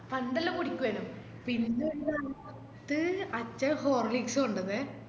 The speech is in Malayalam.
പണ്ടേല്ലോം കുടിക്കുവെനും പിന്നെ ന്താ അത് അച്ഛൻ horlicks കൊണ്ടൊന്നെ